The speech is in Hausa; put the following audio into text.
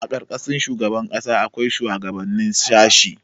A ƙarƙashin shugaban tsangaya akwai shuwagabannin shashi.